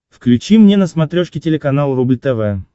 включи мне на смотрешке телеканал рубль тв